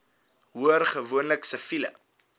hoor gewoonlik siviele